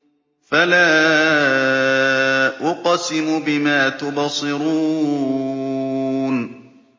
فَلَا أُقْسِمُ بِمَا تُبْصِرُونَ